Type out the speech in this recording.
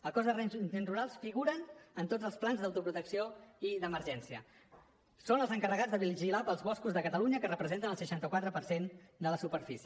el cos d’agents rurals figura en tots els plans d’autoprotecció i d’emergència són els encarregats de vigilar els boscos de catalunya que representen el seixanta quatre per cent de la superfície